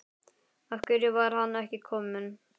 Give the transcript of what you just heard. Af hverju var hann ekki kominn?